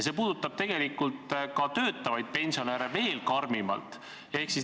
See puudutab töötavaid pensionäre veel karmimalt.